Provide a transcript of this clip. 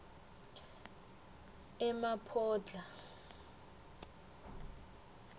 emaphodlha